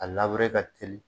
A labure ka teli